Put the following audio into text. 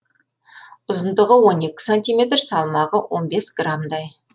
ұзындығы он екі сантиметр салмағы он бес грамдай